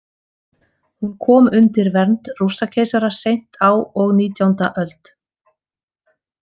Hún kom undir vernd Rússakeisara seint á og nítjánda öld.